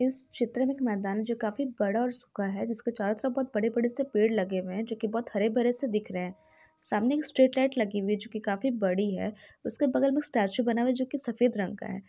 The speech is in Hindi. इस चित्र में एक मैदान जो काफी बड़ा और सूखा है जिस के चारो तरफ पेड़ लगे हुए है जो की बहुत हरे - भरे से दिख रहे हैं सामने एक स्ट्रीट लाइट लगी हुई है जो काफी बड़ी हैं उसके बगल में एक स्टेचू बना हुआ है जो की सफेद रंग का हैं।